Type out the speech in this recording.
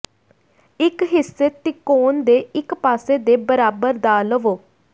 ਇੱਕ ਹਿੱਸੇ ਤਿਕੋਣ ਦੇ ਇੱਕ ਪਾਸੇ ਦੇ ਬਰਾਬਰ ਦਾ ਲਵੋ